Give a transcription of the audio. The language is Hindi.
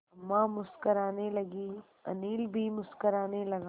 अम्मा मुस्कराने लगीं अनिल भी मुस्कराने लगा